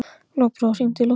Lokbrá, hringdu í Loftveigu.